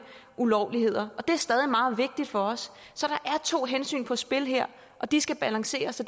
ulovligheder og det er stadig meget vigtigt for os så der er to hensyn på spil her og de skal balanceres og